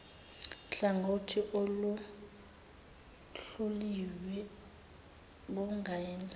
hlangothi oluhluliwe bungenza